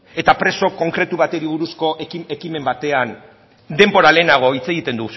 eta preso konkretu bati buruzko ekimen batean denbora lehenago